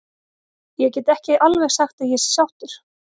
Ég get ekki alveg sagt að ég sé sáttur.